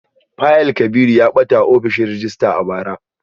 Fayil Kabiru ya bata a ofishin rejista a bara